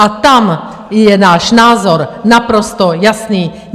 A tam je náš názor naprosto jasný.